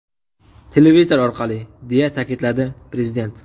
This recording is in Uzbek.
Televizor orqali!” deya ta’kidladi prezident.